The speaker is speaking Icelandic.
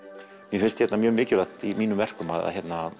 mér finnst mjög mikilvægt í mínum verkum að